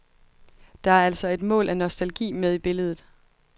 Der er altså et mål af nostalgi med i billedet.